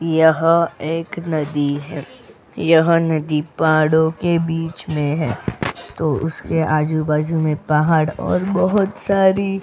यह एक नदी है यह नदी पहाड़ो के बीच मै है तो उसके आजूबाजू में पहाड़ और बहुत सारी --